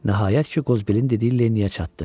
Nəhayət ki, Qozbelin dediyi Lenniyə çatdı.